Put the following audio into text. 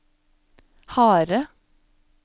harde